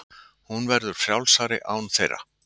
Hún verður frjálsari án þeirra.